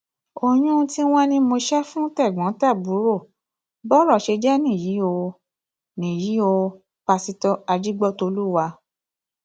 oyún tí wọn ní mo ṣe fún tẹgbọntàbúrò bọrọ ṣe jẹ nìyí o nìyí o pásítọ ajígbọtọlùwà